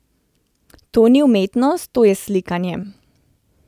To ni umetnost, to je slikanje.